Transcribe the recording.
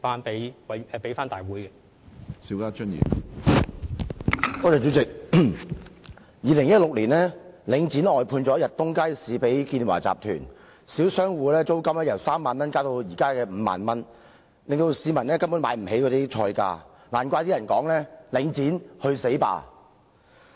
主席，領展在2016年把逸東街市外判給建華集團，小商戶的租金由3萬元增至現時的5萬元，令市民根本無法負擔該街市的菜價，難怪有人說："領展，去死吧!"。